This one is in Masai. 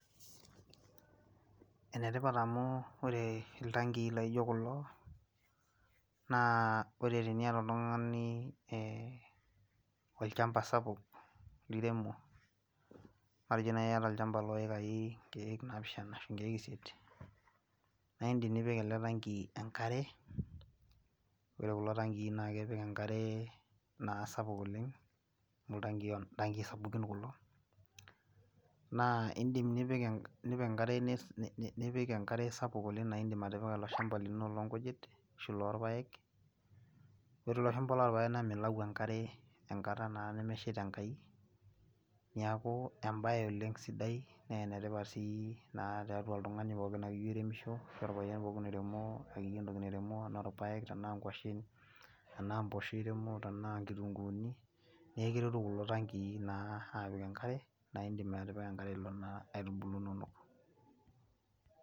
ene tipat amu ore iltankii laijo kulo naa ore teniata oltungani ee olchampa sapuk liremu, matejo naaji iyata olchampa loikai inkeek napishana ashu inkeek isiet, naa idim nipik ele tanki enkare. ore kulo tankii na ipik enkare naa sapuk oleng. amu iltankii sapukin kulo.na idim nipik enkare, nipik enkare spuk oleng na idim nipik ilo shampa lino loonkujit shu lorpaek. ore ilo shampa lorpaek na milau enkare enkata naa nemeshieta enkai. neeku ebae oleng sidai naa enetipat sii naata oltungani pookin ake oiremisho. ashu orpayian ake oiremo akeyie entoki nairemo anaa irpaek, tena nkwasen, tenaa mpoosho iremo tena nkitunkuuni. neeku ekiretu kulo tankii naa apik inkitunkuuni enkare. naidim atipika enkare ilo naa aitubulu inonok.